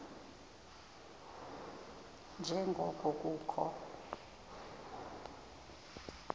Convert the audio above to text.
nje ngoko kukho